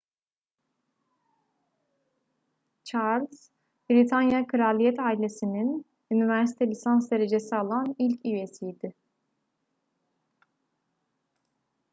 charles britanya kraliyet ailesi'nin üniversite lisans derecesi alan ilk üyesiydi